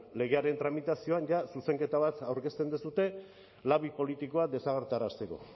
legearen tramitazioan zuzenketa bat aurkezten duzue labi politikoa desagertarazteko